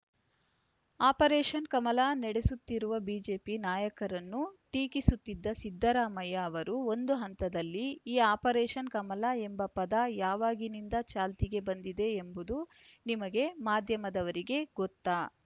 operation Kamala ನಡೆಸುತ್ತಿರುವ BJP ನಾಯಕರನ್ನು ಟೀಕಿಸುತ್ತಿದ್ದ ಸಿದ್ದರಾಮಯ್ಯ ಅವರು ಒಂದು ಹಂತದಲ್ಲಿ ಈ ಆಪರೇಷನ್‌ ಕಮಲ ಎಂಬ ಪದ ಯಾವಾಗಿನಿಂದ ಚಾಲ್ತಿಗೆ ಬಂದಿದೆ ಎಂಬುದು ನಿಮಗೆ ಮಾಧ್ಯಮದವರಿಗೆ ಗೊತ್ತಾ